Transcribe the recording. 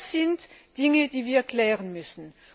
Das sind Dinge, die wir klären müssen.